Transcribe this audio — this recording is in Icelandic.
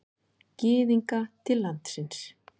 Gyðinga til landsins.